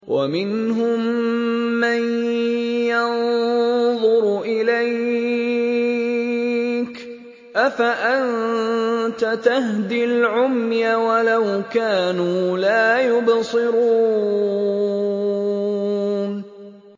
وَمِنْهُم مَّن يَنظُرُ إِلَيْكَ ۚ أَفَأَنتَ تَهْدِي الْعُمْيَ وَلَوْ كَانُوا لَا يُبْصِرُونَ